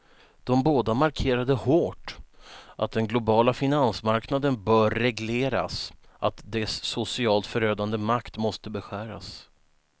De båda markerade hårt att den globala finansmarknaden bör regleras, att dess socialt förödande makt måste beskäras.